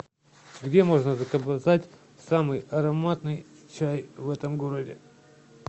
где можно заказать самый ароматный чай в этом городе